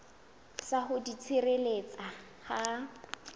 sa ho di tshireletsa ha